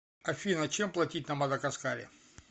афина чем платить на мадагаскаре